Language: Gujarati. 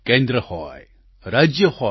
કેન્દ્ર હોય રાજ્ય હોય